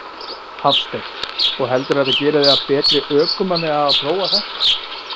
Hafsteinn: Og heldurðu að þetta geri þig að betri ökumanni að hafa prófað þetta?